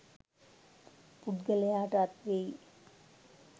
පුද්ගලයාට අත්වෙයි.